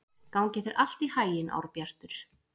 Gangi þér allt í haginn, Árbjartur.